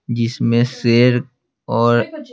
जिसमें शेर और --